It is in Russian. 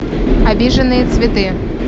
обиженные цветы